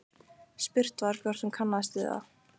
Spurt var hvort hún kannaðist við það?